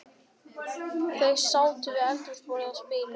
Þau sátu við eldhúsborðið og spiluðu